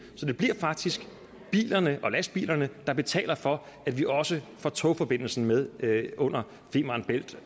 så det bliver faktisk bilerne og lastbilerne der betaler for at vi også får togforbindelsen med under femern bælt